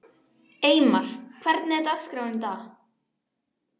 Eymar, hvernig er dagskráin í dag?